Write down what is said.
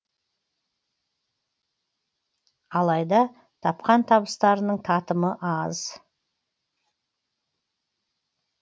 алайда тапқан табыстарының татымы аз